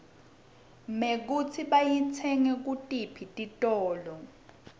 mekutsi bayitsenge kutiphi titiolo